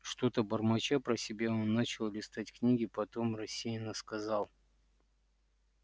что-то бормоча про себя он начал листать книги потом рассеянно сказал